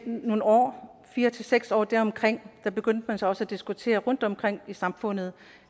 nogle år fire til seks år eller deromkring og man begyndte så også at diskutere det rundtomkring i samfundet